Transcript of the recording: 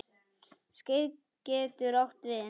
Skeið getur átt við